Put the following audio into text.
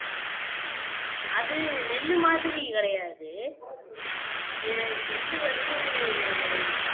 அது நெல்லு மாதிரி கிடையாது ஏ எள்ளு வந்து